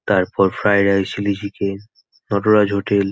তারপর fried rice chilli chicken Nataraj hotel --